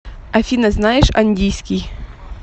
афина знаешь андийский